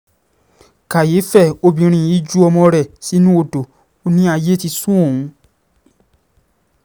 kàyééfẹ́ obìnrin um yìí ju ọmọ rẹ̀ sínú odò um ó ní ayé ti sún òun